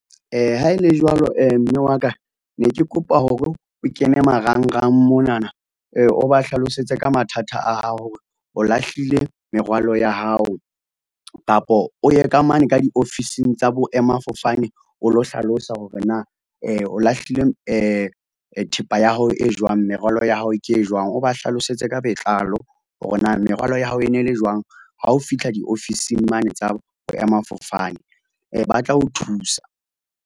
Ha e le jwalo mme wa ka ne ke kopa hore o kene marangrang monana, o ba hlalosetse ka mathata a hao. O lahlile merwalo ya hao kapa o ye ka mane ka diofising tsa boema-fofane o lo hlalosa hore na o lahlile thepa ya hao e jwang, merwalo ya hao ke e jwang, o ba hlalosetse ka botlalo hore na merwalo ya hao e ne le jwang. Ha o fitlha diofising mane tsa Boema-fofane batla ho thusa.